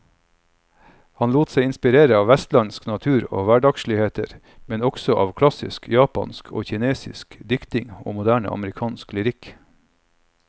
Han lot seg inspirere av vestlandsk natur og hverdagsligheter, men også av klassisk japansk og kinesisk diktning og moderne amerikansk lyrikk.